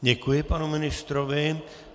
Děkuji panu ministrovi.